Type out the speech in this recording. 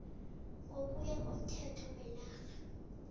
ngokuya komthetho wenarha